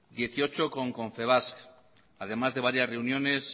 dieciocho con confebask además de varias reuniones